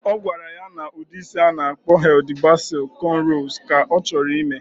Ogwara ya na udi isi ana akpo Hilda Baci conrows ka ochoro imee